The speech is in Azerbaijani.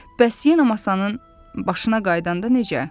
Bəs yenə masanın başına qayıdanda necə?